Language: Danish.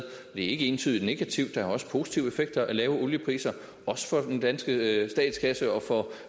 er ikke entydigt negative der er også positive effekter af lave oliepriser også for den danske statskasse og for